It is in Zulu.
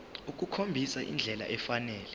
ukukhombisa indlela efanele